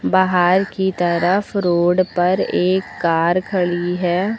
बाहर की तरफ रोड पर एक कार खड़ी है।